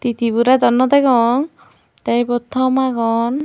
tiborey dw nw degong tey ibot thom agon.